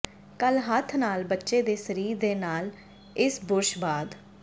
ਕੱਲ ਹੱਥ ਨਾਲ ਬੱਚੇ ਦੇ ਸਰੀਰ ਦੇ ਨਾਲ ਇਸ ਬੁਰਸ਼ ਬਾਅਦ